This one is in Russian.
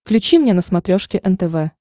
включи мне на смотрешке нтв